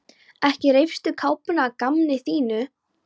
Ekki reifstu kápuna að gamni þínu!